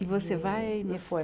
E você vai... E e foi.